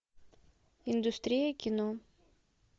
индустрия кино